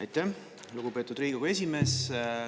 Aitäh, lugupeetud Riigikogu esimees!